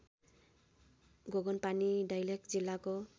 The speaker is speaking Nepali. गोगनपानी दैलेख जिल्लाको